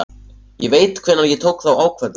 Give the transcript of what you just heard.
Ég veit hvenær ég tók þá ákvörðun.